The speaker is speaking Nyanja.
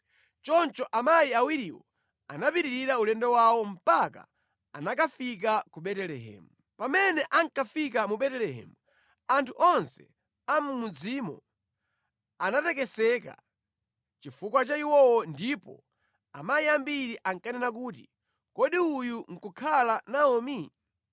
Choncho amayi awiriwo anapitiriza ulendo wawo mpaka anakafika ku Betelehemu. Pamene ankafika mu Betelehemu, anthu onse a mʼmudzimo anatekeseka chifukwa cha iwowo ndipo amayi ambiri ankanena kuti, “Kodi uyu nʼkukhala Naomi?”